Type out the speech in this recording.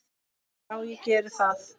Já, ég geri það.